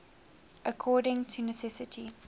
according to necessity